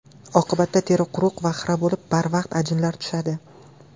Oqibatda teri quruq va xira bo‘lib, barvaqt ajinlar tushadi.